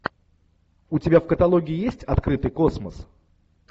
у тебя в каталоге есть открытый космос